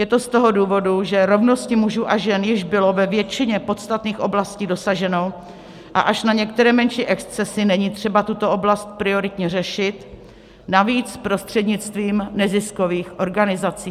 Je to z toho důvodu, že rovnosti mužů a žen již bylo ve většině podstatných oblastí dosaženo a až na některé menší excesy není třeba tuto oblast prioritně řešit, navíc prostřednictvím neziskových organizací.